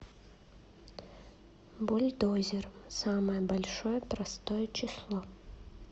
бульдозер самое большое простое число